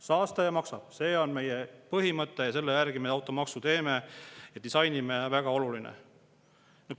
Saastaja maksab – see on meie põhimõte ja selle järgi me automaksu teeme ja disainime, väga oluline.